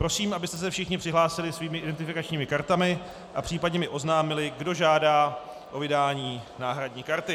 Prosím, abyste se všichni přihlásili svými identifikačními kartami a případně mi oznámili, kdo žádá o vydání náhradní karty.